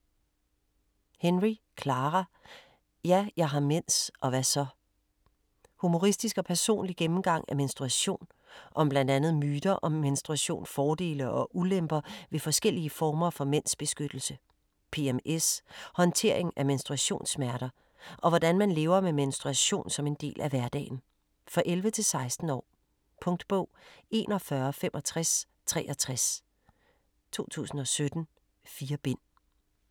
Henry, Clara: Ja, jeg har mens - og hva' så? Humoristisk og personlig gennemgang af menstruation. Om bl.a. myter om menstruation, fordele og ulemper ved forskellige former for mensbeskyttelse, PMS, håndtering af menstruationssmerter, og hvordan man lever med menstruation som del af hverdagen. For 11-16 år. Punktbog 416563 2017. 4 bind.